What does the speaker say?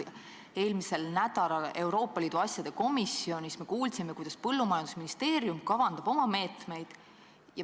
Eelmisel nädalal kuulsime Euroopa Liidu asjade komisjonis, kuidas põllumajandusministeerium kavandab oma meetmeid.